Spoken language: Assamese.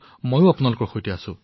মই আপোনালোকৰ সৈতে আছো